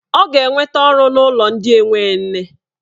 Ọ ga-enweta ọrụ n'ụlọ ndị enwe nne.